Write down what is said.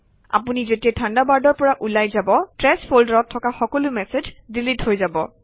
আপুনি যেতিয়াই থাণ্ডাৰবাৰ্ডৰ পৰা ওলাই যাব ট্ৰেশ্ব ফল্ডাৰত থকা সকলো মেচেজ ডিলিট হৈ যাব